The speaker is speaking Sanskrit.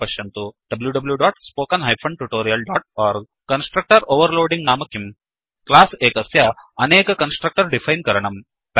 wwwspoken tutorialओर्ग कन्स्ट्रक्टर् ओवर्लोडिङ्ग् नाम किम्160 क्लास् एकस्य अनेक कन्स्ट्रक्टर् डिफैन् करणम्